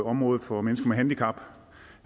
området for mennesker med handicap